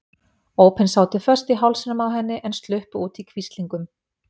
Ópin sátu föst í hálsinum á henni en sluppu út í hvíslingum.